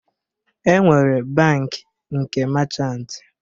E nwere bankị nke machant